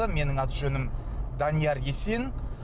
менің аты жөнім данияр есен